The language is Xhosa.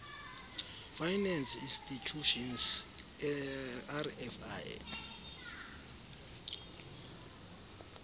finance institutions rfi